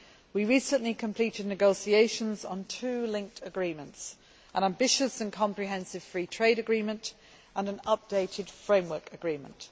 We recently completed negotiations on two linked agreements an ambitious and comprehensive free trade agreement and an updated framework agreement.